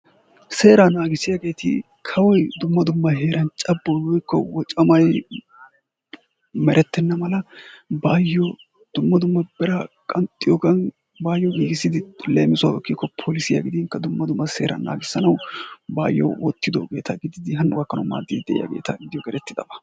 seeraa naagissiyaageeti kawoy dumma dumma heeran cabboy woykko woccamay merettena mala baayyo dumma dumma biraa qanxxiyoogan baayyo giiggisidi leemisuwaw ekkiko polissiya gidinkka dumma dumma seeraa naagissanaw baayyo wottidoogeeta gidid hano gakkanaw maaddid de'iyaageeta gidiyogee erettidaba.